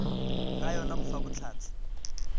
ga yona go fa bohlatse